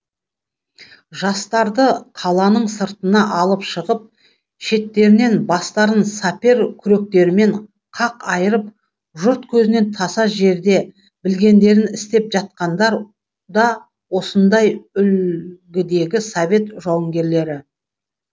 жастарды қаланың сыртына алып шығып шеттерінен бастарын сапер күректерімен қақ айырып жұрт көзінен таса жерде білгендерін істеп жатқандар да осындай үлгідегі совет жауынгерлері